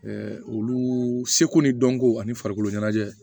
olu seko ni dɔnko ani farikolo ɲɛnajɛ